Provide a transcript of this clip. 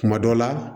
Kuma dɔ la